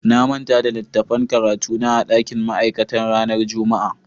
Na manta da littattafan karatu na a dakin ma'aikata ranar Juma'a.